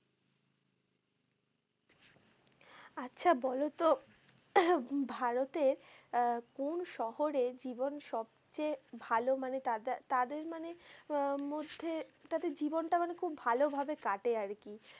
আচ্ছা বলত ভারতের আহ কোন শহরে জীবন সবচেয়ে ভালো মানে তাদের মানে উম মধ্যে তাদের জীবনটা মানে খুব ভালোভাবে কাটে আর কি?